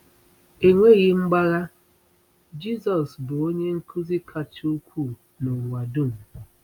Enweghị mgbagha, Jizọs bụ Onye Nkuzi kacha ukwuu n’ụwa dum!